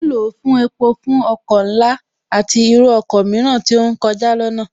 Ní báyìí, À ń lò ó fún epo fún ọkọ̀ ńlá, àti irú ọkọ mìíràn tí ó ń kọjá lọnáà